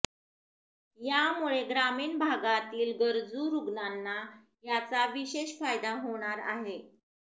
यामुळे ग्रामीण भागातील गरजू रुग्णांना याचा विषेश फायदा होणार आहे